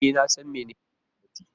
E, na san menene gwamnati.